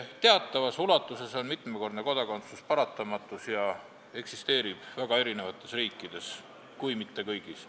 Teatavas ulatuses on mitmekordne kodakondsus paratamatus, mis eksisteerib väga paljudes riikides, kui mitte kõigis.